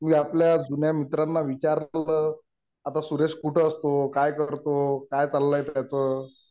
मी आपल्या जुन्या मित्रांना विचारलं. आता सुरेश कुठं असतो. काय करतो. काय चाललंय त्याचं.